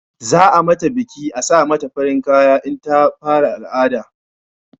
Za a mata biki a sa mata farin kaya in ta fara al'ada